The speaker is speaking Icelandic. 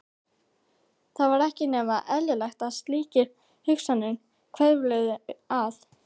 Það var ekki nema eðlilegt að slíkar hugsanir hvörfluðu að